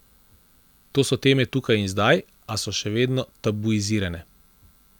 To so teme tukaj in zdaj, a so še vedno tabuizirane.